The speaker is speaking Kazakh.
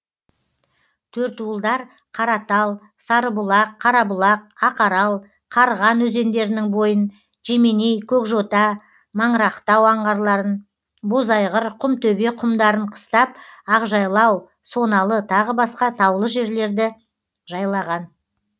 төртуылдар қаратал сарыбұлақ қарабұлақ ақарал қарған өзендерінің бойын жеменей көкжота маңырақтау аңғарларын бозайғыр құмтөбе құмдарын қыстап ақжайлау соналы тағы басқа таулы жерлерді жайлаған